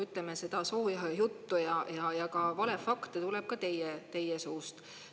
Ütleme, seda sooja juttu ja valefakte tuleb ka teie suust.